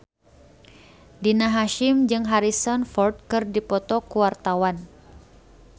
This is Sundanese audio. Rina Hasyim jeung Harrison Ford keur dipoto ku wartawan